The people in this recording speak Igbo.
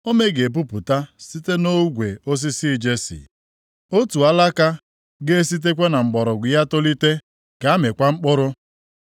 Ome ga-epupụta site nʼogwe osisi Jesi; otu Alaka ga-esitekwa na mgbọrọgwụ ya tolite ga-amịkwa mkpụrụ.